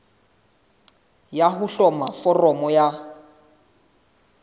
ya ho hloma foramo ya